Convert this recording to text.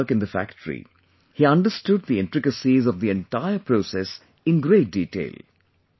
During his work in the factory, he understood the intricacies of the entire process in great detail